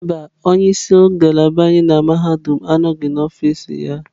Mba, onye isi ngalaba anyị na mahadum anọghị n'ọfịs ya.